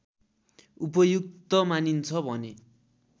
उपयुक्त मानिन्छ भने